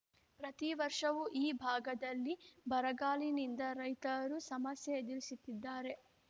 ಪ್ರತಿವರ್ಷವೂ ಈ ಭಾಗದಲ್ಲಿ ಬರಗಾಲಿನಿಂದ ರೈತರು ಸಮಸ್ಯೆ ಎದುರಿಸುತ್ತಿದ್ದಾರೆ